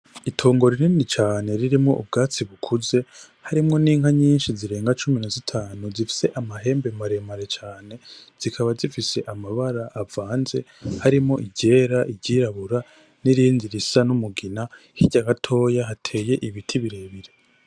Itongo rinini cane ririmwo ibwatsi bukuze harimwo n'inka nyinshi zirenga cumi nazitanu zifis'amahembe maremare cane, zikaba zifise amabara avanze ,harimwo iryera, iryirabura n'irindi risa n'umugina hirya gatoyi hatey'ibiti birebire.